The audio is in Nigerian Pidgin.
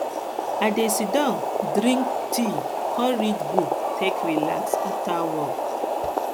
i dey sidon drink tea kom read book take relax after work after work